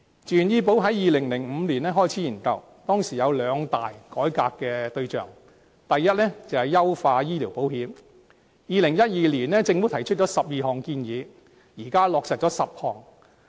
自願醫保在2005年開始研究，當時有兩大改革對象，第一，是優化醫療保險 ；2012 年，政府提出12項建議，現在已落實10項。